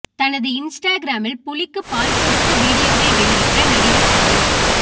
தனது இன்ஸ்டாகிராமில் புலிக்கு பால் கொடுத்த வீடியோவை வெளியிட்ட நடிகர் சதீஷ்